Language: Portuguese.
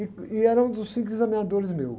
E, e era um dos cinco examinadores meus.